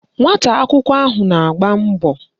Nwata akwụkwọ ahụ na-agba mbọ